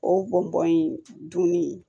O bɔn bɔn in dunni